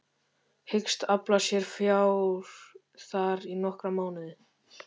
Hyggst afla sér fjár þar í nokkra mánuði.